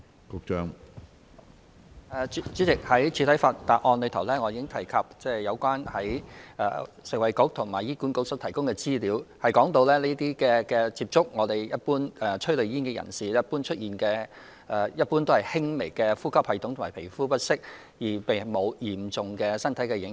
主席，我在主體答覆已經提及食衞局和醫管局提供的資料指出，接觸催淚煙的人士一般會出現輕微的呼吸系統和皮膚不適，但對身體並沒有嚴重的影響。